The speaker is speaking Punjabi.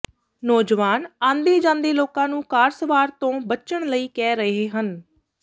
ਨੌਜਵਾਨ ਆਂਦੇ ਜਾਂਦੇ ਲੋਕਾਂ ਨੂੰ ਕਾਰ ਸਵਾਰ ਤੋਂ ਬਚਣ ਲਈ ਕਹਿ ਰਹੇ ਹਨ